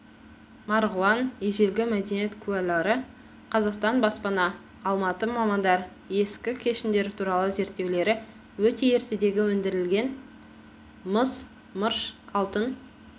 марғұлан ежелгі мәдениет куәлары қазақстан баспасы алматы мамандар ескі кеніштер туралы зерттеулері өте ертедегі өндірілген мыс мырш алтын